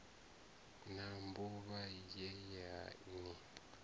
na mbuvha ye ya ni